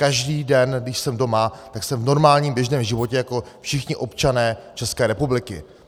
Každý den, když jsem doma, tak jsem v normálním běžném životě jako všichni občané České republiky.